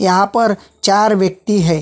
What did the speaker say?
यहाँ पर चार व्यक्ति है ।